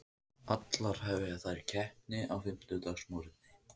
Allar hefja þær keppni á fimmtudagsmorguninn